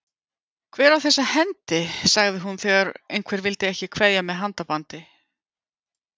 Hver á þessa hendi? sagði hún þegar einhver vildi ekki kveðja með handabandi.